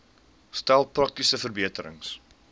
stel praktiese verbeterings